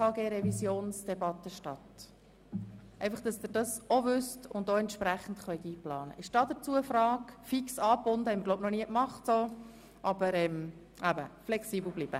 Das heisst, die Debatte betreffend die SHG-Revision findet direkt nach Ende der Haushaltsdebatte statt.